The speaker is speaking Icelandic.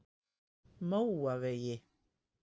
Móavegi